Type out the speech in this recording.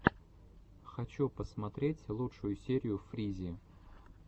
хочу посмотреть лучшую серию фризи